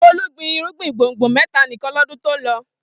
Folú gbin irúgbìn gbùngbùn mẹ́ta nìkan lọ́dún tó lọ.